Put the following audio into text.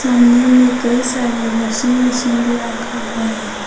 सामने में कई सारे वाशिंग मशीन भी रखा हुआ है।